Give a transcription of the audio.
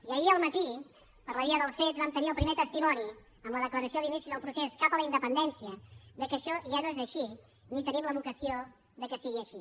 i ahir al matí per la via dels fets vam tenir el primer testimoni amb la declaració d’inici del procés cap a la independència que això ja no és així ni tenim la vocació que sigui així